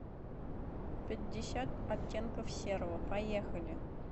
пятьдесят оттенков серого поехали